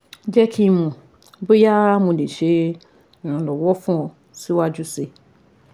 Jẹ ki n mọ boya Mo le ṣe iranlọwọ fun ọ siwaju sii